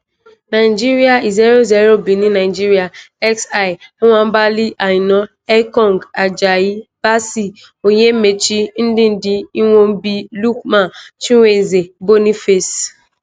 nigeria 0-0 benin nigeria xi: nwabali; aina ekong ajayi bassey onyemaechi; ndidi iwobi; lookman chukwueze boniface.